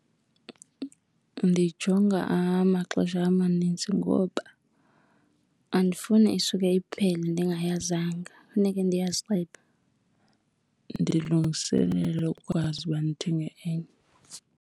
Ndiyijonga amaxesha amanintsi ngoba andifuni isuke iphele ndingayazanga, funeke ndiyazile ndilungiselele ukwazi uba ndithenge enye.